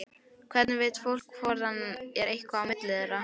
Hvernig veit fólk hvort það er eitthvað á milli þeirra?